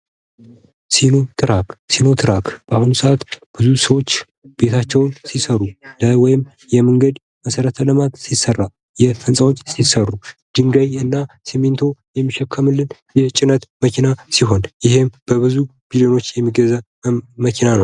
ሲኖትራክ ሲኖትራክ በአሁኑ ሰዓት ብዙ ሰዎች ቤታቸውን ሲሰሩ ወይም ደግሞ የመንገድ መሰረተ ልማት ሲሰራ ህንፃዎች ሲሰሩ ድንጋይ እና ሲሚንቶ የሚሸከምልን የጭነት መኪና ሲሆን ይህም በብዙ ሚሊዮን ብሮች የሚገዛ መኪና ነው።